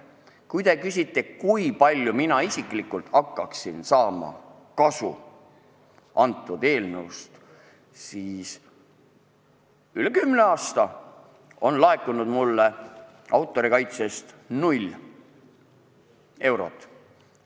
Kui te küsite, kui palju mina isiklikult hakkaksin sellest eelnõust kasu saama, siis ütlen, et üle kümne aasta on laekunud mulle autorikaitsest null eurot.